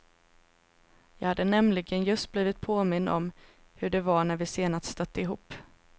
Jag hade nämligen just blivit påmind om hur det var när vi senast stötte ihop.